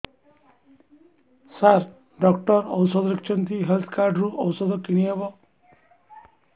ସାର doctor ଔଷଧ ଲେଖିଛନ୍ତି health card ରୁ ଔଷଧ କିଣି ହେବ